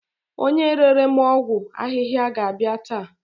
Onye rere m ọgwụ ahihia ga-abia ta